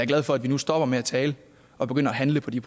glad for at vi nu stopper med at tale og begynder at handle på de